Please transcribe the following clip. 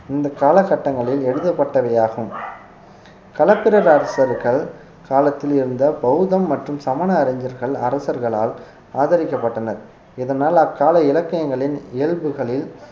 இந்த காலகட்டங்களில் எழுதப்பட்டவையாகும் களப்பிரர் அரசர்கள் காலத்தில் இருந்த பௌத்தம் மற்றும் சமண அறிஞர்கள் அரசர்களால் ஆதரிக்கப்பட்டனர் இதனால் அக்கால இலக்கியங்களின் இயல்புகளில்